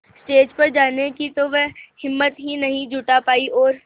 stage पर जाने की तो वह हिम्मत ही नहीं जुटा पाई और